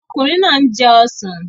Ọkùnrin náà ń jẹ ọsàn